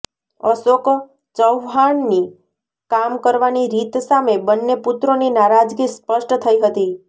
અશોક ચવ્હાણની કામ કરવાની રીત સામે બન્ને પુત્રોની નારાજગી સ્પષ્ટ થઈ હતી